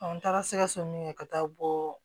n taara sɛgɛso min ka taa bɔ